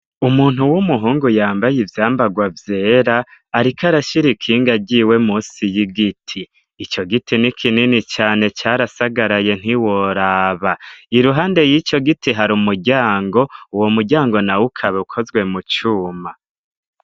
Umuntu w'umuhungu yambaye ivyambagwa vyera ariko arashira ikinga ryiwe musi y'igiti, ico giti ni kinini cane carasagaraye ntiworaba, iruhande y'ico giti hari umuryango, uwo muryango nawo ukaba ukozwe mu cuma.